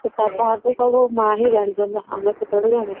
ତାହା ତ ସବୁ ମା ହି ଜାଣି ଛନ୍ତି ନା ଆମେ କଣ ସବୁ ଜାଣୁ